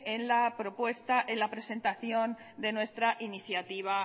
en la presentación de nuestra iniciativa